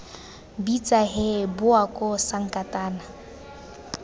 bitsa hee bowa koo sankatane